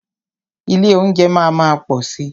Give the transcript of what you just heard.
Ilé óúnjẹ máa má pọ̀ si.